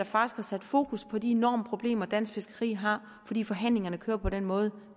faktisk har sat fokus på de enorme problemer dansk fiskeri har fordi forhandlingerne kører på den måde